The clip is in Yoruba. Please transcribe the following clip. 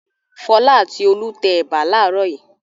Fọlá àti Olú tẹ ẹ̀bà láàárọ̀ yìí.